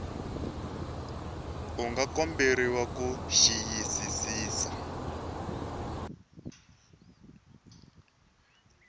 u nga komberiwa ku xiyisisisa